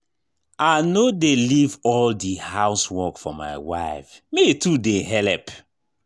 I no dey leave all di house work for my wife, me too dey helep.